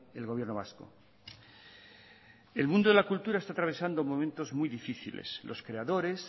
el gobierno vasco el mundo de la cultura está atravesando momentos muy difíciles los creadores